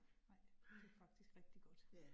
Nej, det faktisk rigtig godt